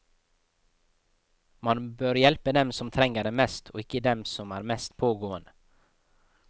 Man bør hjelpe dem som trenger det mest og ikke dem som er mest pågående.